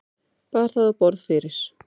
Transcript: Bar það á borð fyrir